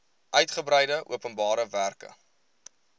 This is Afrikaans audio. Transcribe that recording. uitgebreide openbare werke